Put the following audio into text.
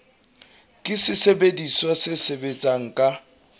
ke sesebediswa se sebetsang ka